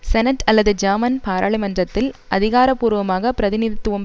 senate அல்லது German பாராளுமன்றத்தில் அதிகாரபூர்வமாக பிரதிநித்துவம்